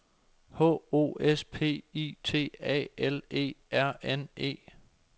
H O S P I T A L E R N E